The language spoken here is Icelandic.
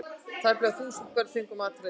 Tæplega þúsund börn fengu matareitrun